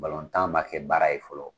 ma kɛ baara ye fɔlɔ.